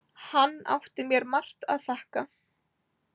Hann átti mér margt að þakka.